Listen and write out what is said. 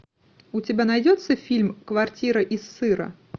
у тебя найдется фильм квартира из сыра